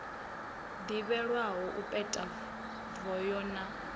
ḓivhelwaho u peta voho na